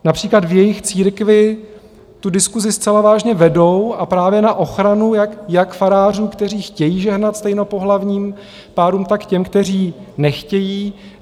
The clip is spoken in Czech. Například v jejich církvi tu diskusi zcela vážně vedou a právě na ochranu jak farářů, kteří chtějí žehnat stejnopohlavním párům, tak těm, kteří nechtějí.